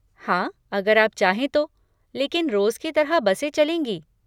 हाँ, अगर आप चाहें तो, लेकिन रोज़ की तरह बसें चलेंगी।